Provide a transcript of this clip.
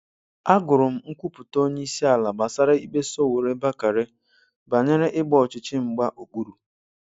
A gụrụ m nkwupụta onye ịsi ala gbasara ikpe Sowore-Bakare banyere ịgba ọchichi mgba okpuru